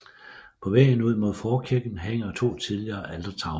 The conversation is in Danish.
På væggen ud mod forkirken hænger to tidligere altertavler